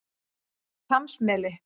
Hvammsmeli